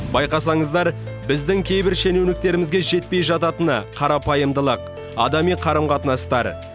байқасаңыздар біздің кейбір шенеуніктерімізге жетпей жататыны қарапайымдылық адами қарым қатынастар